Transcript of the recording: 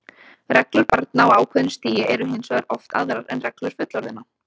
Reglur barna á ákveðnu stigi eru hins vegar oft aðrar en reglur fullorðinna.